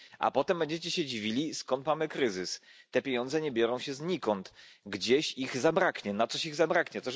A potem będziecie się dziwili, skąd mamy kryzys. Te pieniądze nie biorą się znikąd gdzieś ich zabraknie, na coś ich zabraknie.